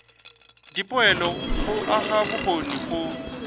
dipoelo go aga bokgoni go